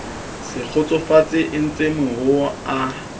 se kgotsofale eentse mehoo a